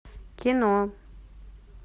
кино